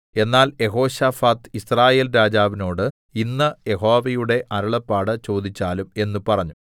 എന്നാൽ Jehoshaphat Israel രാജാവിനോട് ഇന്ന് യഹോവയുടെ അരുളപ്പാട് ചോദിച്ചാലും എന്ന് പറഞ്ഞു